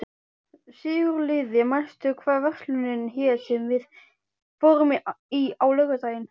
Sigurliði, manstu hvað verslunin hét sem við fórum í á laugardaginn?